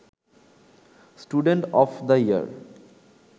student of the year